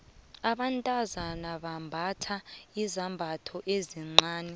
abantazana bambatha izambatho ezincani